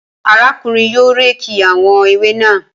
Arákùnrin náà yóò réèkì àwọn ewé naa